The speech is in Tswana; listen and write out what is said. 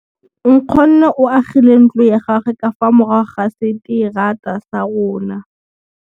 Nkgonne o agile ntlo ya gagwe ka fa morago ga seterata sa rona.